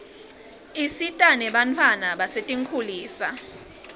isita nebantfwana basetinkhulisa